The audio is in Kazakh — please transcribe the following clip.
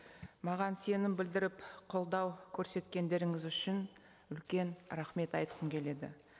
маған сенім білдіріп қолдау көрсеткендеріңіз үшін үлкен рахмет айтқым келеді